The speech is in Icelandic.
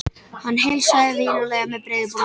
Hann heilsaði vinalega með breiðu brosi.